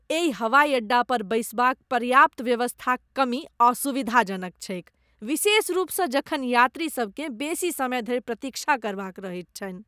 एहि हवाइ अड्डा पर बैसबाक पर्याप्त व्यवस्थाक कमी असुविधाजनक छैक, विशेष रूपसँ जखन यात्रीसभकेँ बेसी समय धरि प्रतीक्षा करबाक रहैत छनि।